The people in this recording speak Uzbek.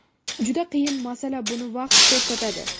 Juda qiyin masala, buni vaqt ko‘rsatadi.